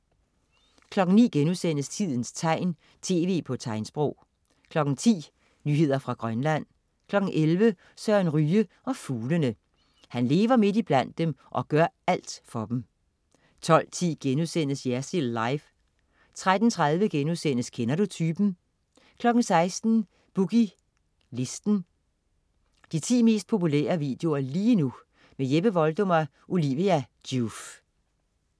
09.00 Tidens tegn, tv på tegnsprog* 10.00 Nyheder fra Grønland 11.00 Søren Ryge og fuglene. Han lever midt iblandt dem og gør alt for dem 12.10 Jersild Live* 13.30 Kender du typen?* 16.00 Boogie Listen. De 10 mest populære videoer lige nu. Jeppe Voldum og Olivia Joof